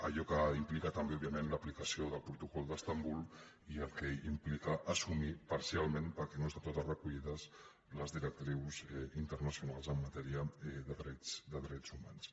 allò que implica també òbviament l’aplicació del protocol d’istanbul i el que implica assumir parcialment perquè no estan totes recollides les directrius internacionals en matèria de drets humans